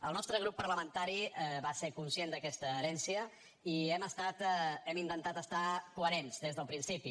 el nostre grup parlamentari va ser conscient d’aquesta herència i hem intentat ser coherents des del principi